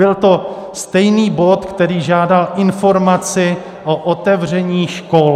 Byl to stejný bod, který žádal informaci o otevření škol.